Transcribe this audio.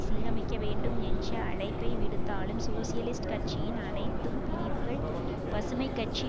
சீரமைக்க வேண்டும் என்ற அழைப்பை விடுத்தாலும் சோசியலிஸ்ட் கட்சியின் அனைத்தும் பிரிவுகள் பசுமை கட்சி